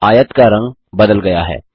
आयत का रंग बदल गया है